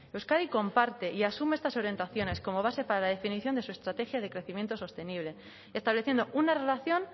euskadi comparte y asume estas orientaciones como base para la definición de su estrategia de crecimiento sostenible estableciendo una relación